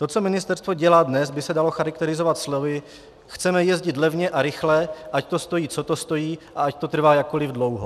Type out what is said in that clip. To, co ministerstvo dělá dnes, by se dalo charakterizovat slovy: chceme jezdit levně a rychle, ať to stojí, co to stojí, a ať to trvá jakkoliv dlouho.